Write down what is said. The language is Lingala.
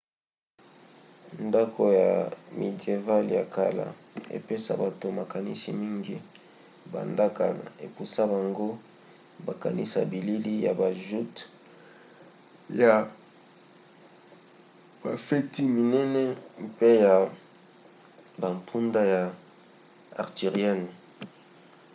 ndako ya médiéval ya kala epesa bato makanisi mingi banda kala epusa bango bakanisa bilili ya ba joutes ya bafeti minene mpe ya bampunda ya arthurienne